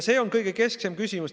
See on keskne küsimus.